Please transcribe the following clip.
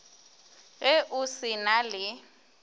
ge o se na le